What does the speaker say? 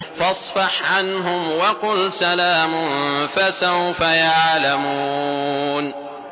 فَاصْفَحْ عَنْهُمْ وَقُلْ سَلَامٌ ۚ فَسَوْفَ يَعْلَمُونَ